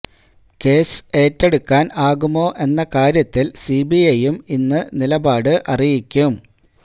case ഏറ്റെടുക്കാന് ആകുമോ എന്ന കാര്യത്തില് സിബിഐയും ഇന്ന് നിലപാട് അറിയിക്കും